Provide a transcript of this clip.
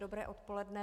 Dobré odpoledne.